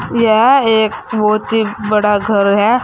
यह एक बहुत ही बड़ा घर है।